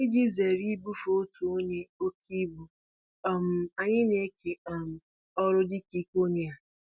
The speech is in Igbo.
Iji zere ibufe otu onye oke ibu, um anyị na-eke um ọrụ dịka ike onye ha